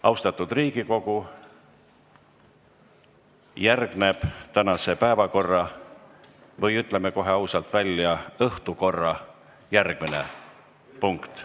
Austatud Riigikogu, järgneb tänase päevakorra või ütleme kohe ausalt välja, õhtukorra järgmine punkt.